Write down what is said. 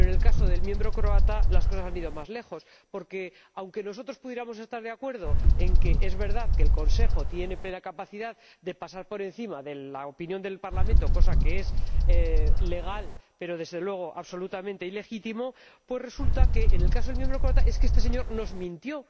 Pero en el caso del miembro croata las cosas han ido más lejos, porque, aunque nosotros pudiéramos estar de acuerdo en que es verdad que el Consejo tiene plena capacidad de pasar por encima de la opinión del Parlamento, cosa que es legal, pero desde luego absolutamente ilegítima, pues resulta que, en el caso del miembro croata, este señor nos mintió.